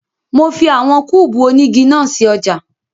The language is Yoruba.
Mo fi àwọn kúùbù onígi náà sí ọjà